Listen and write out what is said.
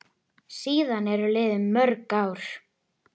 Síðan eru liðin mörg ár.